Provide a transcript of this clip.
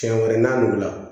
Siɲɛ wɛrɛ n'a nugu la